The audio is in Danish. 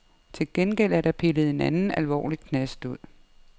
Til gengæld er der pillet en anden alvorlig knast ud.